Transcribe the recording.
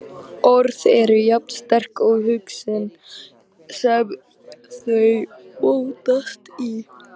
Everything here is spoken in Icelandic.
Orð eru jafn sterk og húsin sem þau mótast í.